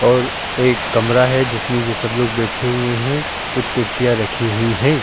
और एक कमरा है जिसमें ये सब लोग बैठे हुए हैं। कुछ कुर्सियां रखी हुई हैं।